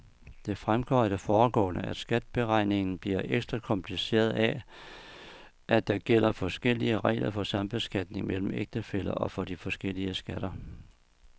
Det fremgår af det foregående, at skatteberegningen bliver ekstra kompliceret af, at der gælder forskellige regler for sambeskatning mellem ægtefæller for de forskellige skatter.